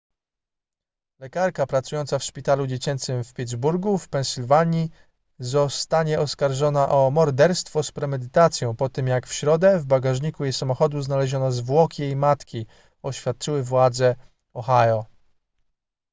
lekarka pracująca w szpitalu dziecięcym w pittsburgu w pensylwanii zostanie oskarżona o morderstwo z premedytacją po tym jak w środę w bagażniku jej samochodu znaleziono zwłoki jej matki oświadczyły władze ohio